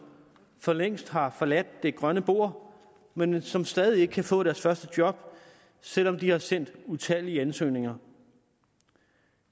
for længst har forladt det grønne bord men som stadig ikke kan få deres første job selv om de har sendt utallige ansøgninger